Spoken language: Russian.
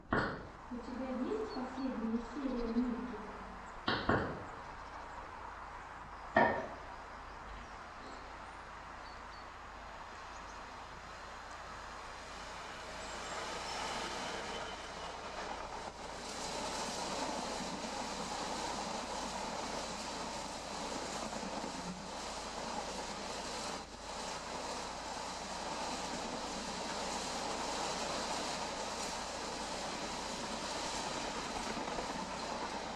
у тебя есть последняя серия миккета